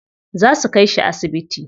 Za su kai shi asibiti.